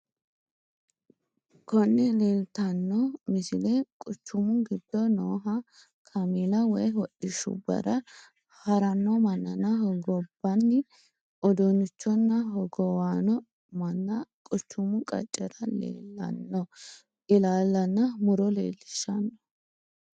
Konne lelittanoo misile quuchumu gido noo kaamella woy hodhishubbara harranoo mannana hoogobaani uddunnichonna hoggowaano maanna quuchumu qaccerra lellano illalaanna murro lelishano